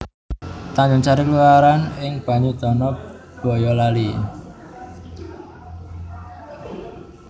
Tanjungsari kelurahan ing Banyudana Bayalali